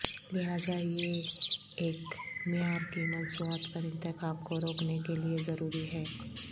لہذا یہ ایک معیار کی مصنوعات پر انتخاب کو روکنے کے لئے ضروری ہے